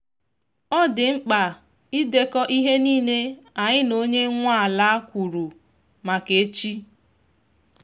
ọ dị mkpa idekọ ihe nile anyi na onye nwa ala kwuru maka echi